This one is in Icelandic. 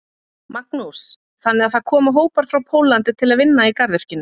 Magnús: Þannig að það koma hópar frá Póllandi til að vinna í garðyrkjunni?